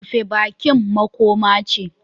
Rufe bakin makoma ce